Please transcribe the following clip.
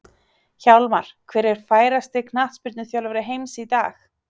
Hjálmar Hver er færasti knattspyrnuþjálfari heims í dag?